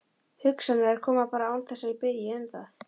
Hugsanirnar koma bara án þess að ég biðji um það.